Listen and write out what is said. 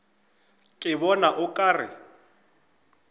ke bona o ka re